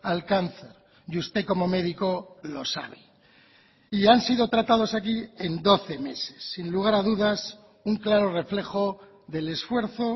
al cáncer y usted como medico lo sabe y han sido tratados aquí en doce meses sin lugar a dudas un claro reflejo del esfuerzo